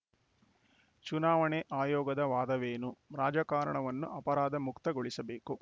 ಚುನಾವಣೆ ಆಯೋಗದ ವಾದವೇನು ರಾಜಕಾರಣವನ್ನು ಅಪರಾಧಮುಕ್ತಗೊಳಿಸಬೇಕು